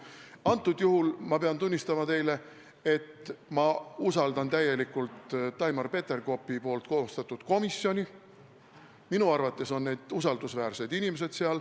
Praegusel juhul ma pean tunnistama teile, et ma usaldan täielikult Taimar Peterkopi koostatud komisjoni, minu arvates on seal usaldusväärsed inimesed.